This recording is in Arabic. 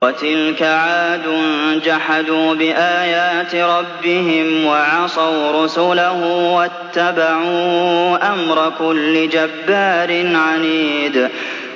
وَتِلْكَ عَادٌ ۖ جَحَدُوا بِآيَاتِ رَبِّهِمْ وَعَصَوْا رُسُلَهُ وَاتَّبَعُوا أَمْرَ كُلِّ جَبَّارٍ عَنِيدٍ